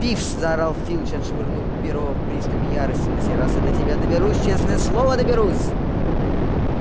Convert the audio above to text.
пивз заорал филч отшвырнув перо в приступе ярости на сей раз я до тебя доберусь честное слово доберусь